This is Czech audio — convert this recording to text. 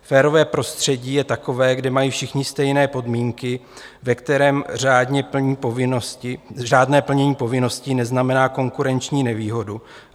Férové prostředí je takové, kde mají všichni stejné podmínky, ve kterém řádné plnění povinností neznamená konkurenční nevýhodu.